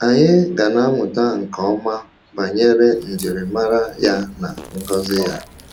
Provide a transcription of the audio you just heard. Anyị ga na-amụta nke ọma banyere njirimara ya na ngọzi ya.